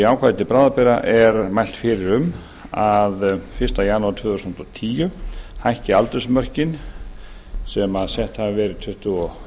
til bráðabirgða er mælt fyrir um að fyrsta janúar tvö þúsund og tíu hækki aldursmörkin sem sett hafa verið tuttugu og